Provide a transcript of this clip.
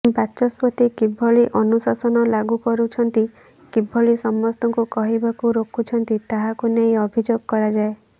ବାଚସ୍ପତି କିଭଳି ଅନୁଶାସନ ଲାଗୁ କରୁଛନ୍ତି କିଭଳି ସମସ୍ତଙ୍କୁ କହିବାକୁ ରୋକୁଛନ୍ତି ତାହାକୁ ନେଇ ଅଭିଯୋଗ କରାଯାଏ